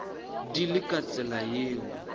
di le ka tsela yeo